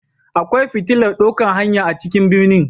Akwai fitilar dokan hanya a cikin ɓirni.